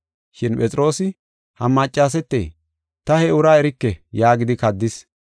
Shin Phexroosi, “Ha maccasete ta he uraa erike” yaagidi kaddis.